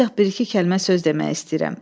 Ancaq bir-iki kəlmə söz demək istəyirəm.